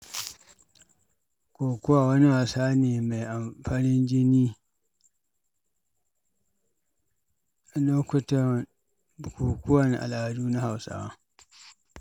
Kokowa wani wasa ne mai amf.. farin jini lokutan bukukuwan al’adu na Hausawa.